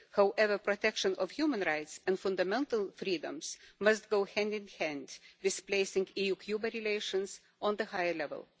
However, protection of human rights and fundamental freedoms must go hand in hand with placing EU Cuba relations on a higher level.